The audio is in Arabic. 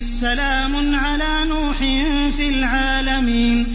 سَلَامٌ عَلَىٰ نُوحٍ فِي الْعَالَمِينَ